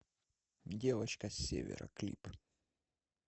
девочка с севера клип